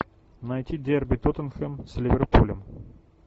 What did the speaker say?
найти дерби тоттенхэм с ливерпулем